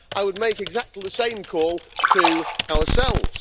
So I would make exactly the same call to ourselves.